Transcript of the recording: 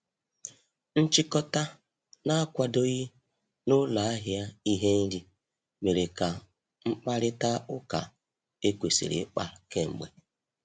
Nchikota na-akwadoghị na ụlọ ahịa ihe nri mere ka mkparịta ụka ekwesiri ikpa k'emgbe.